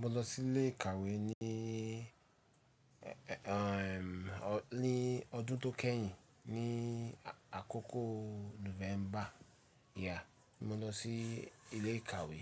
Mo lọ sí ilé ìkàwé ní, ẹ, ẹ, ẹ, ọ̀, ní ọdún tó kẹ́yìn ní àkọ́kọ́ Nùfẹ́mbà, ìyá, mo lọ sí ilé ìkàwé.